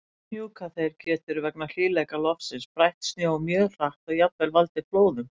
Hnjúkaþeyr getur, vegna hlýleika loftsins, brætt snjó mjög hratt og jafnvel valdið flóðum.